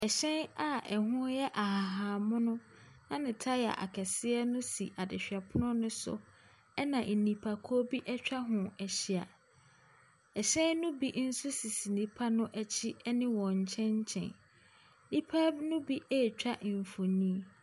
Hyɛn a ɛho yɛ ahahan mono na ne taya akɛseɛ no si adehwɛpono no so, ɛnna nnipakuo bi atwa ho ahyia. Hyɛn no bi nso sisi nnipa no akyi ne wɔn nkyɛnkyɛn. Nnipa no bi retwa mfonin.